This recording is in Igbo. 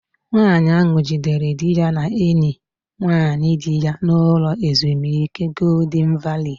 Nwaanyi ahu jidere dị ya na enyi nwaanyị di ya n'ụlọ ezumike Goldịn Valii